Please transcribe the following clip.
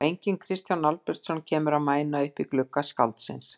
Og enginn Kristján Albertsson kemur að mæna upp í glugga skáldsins.